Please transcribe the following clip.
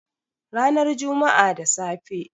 Ranar Juma'a da safe.